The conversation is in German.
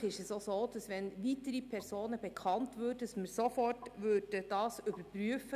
Bei Bekanntwerden weiterer Personen würden wir das selbstverständlich sofort überprüfen;